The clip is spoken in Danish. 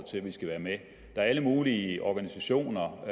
til at vi skal være med der er alle mulige organisationer og